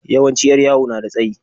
Yawanci 'yar yawo na da tsayi.